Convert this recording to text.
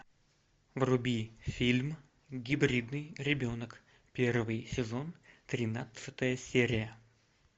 вруби фильм гибридный ребенок первый сезон тринадцатая серия